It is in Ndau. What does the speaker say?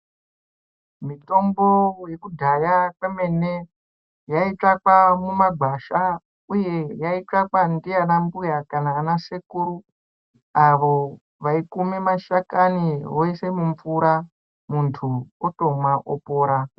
Mitombo yekudhaya kwemene, yaitsvakwa mumagwasha, uye yaitsvakwa ndiana mbuya kana anasekuru avo vaikume mashakani voise mumvura, muntu otomwa, opora.